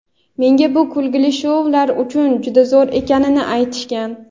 Menga bu kulgili shoular uchun juda zo‘r ekanini aytishgan.